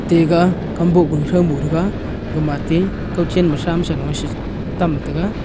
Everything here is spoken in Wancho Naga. ega kamboh ku throu mo tega gama te kawchen ma thram sheno she tam tega.